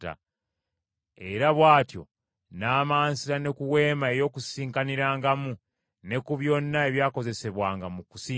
Era bw’atyo n’amansira ne ku weema ey’Okukuŋŋaanirangamu, ne ku byonna ebyakozesebwanga mu kusinza.